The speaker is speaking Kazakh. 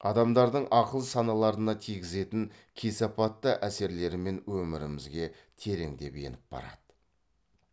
адамдардың ақыл саналарына тигізетін кесапатты әсерлерімен өмірімізге тереңдеп еніп барады